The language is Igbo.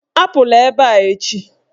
Apụla ebe a echi!